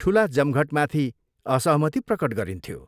ठुला जमघटमाथि असहमति प्रकट गरिन्थ्यो।